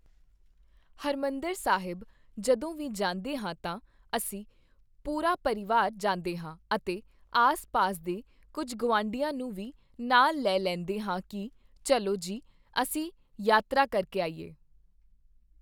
ਹਰਿਮੰਦਰ ਸਾਹਿਬ ਜਦੋਂ ਵੀ ਜਾਂਦੇ ਹਾਂ ਤਾਂ, ਅਸੀਂ ਪੂਰਾ ਪਰਿਵਾਰ ਜਾਂਦੇ ਹਾਂ ਅਤੇ ਆਸ-ਪਾਸ ਦੇ ਕੁੱਝ ਗੁਆਂਢੀਆਂ ਨੂੰ ਵੀ ਨਾਲ ਲੈ ਲੈਂਦੇ ਹਾਂ ਕਿ, ਚੱਲੋ ਜੀ ਅਸੀਂ ਯਾਤਰਾ ਕਰਕੇ ਆਈਏ।